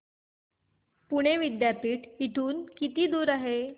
पुणे विद्यापीठ इथून किती दूर आहे